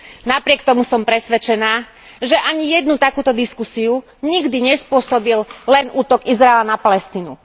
Napriek tomu som presvedčená, že ani jednu takúto diskusiu nikdy nespôsobil len útok Izraela na Palestínu.